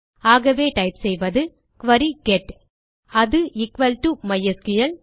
ஆகவே டைப் செய்வது query get அது எக்குவல் டோ மைஸ்கிள்